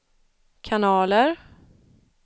kanaler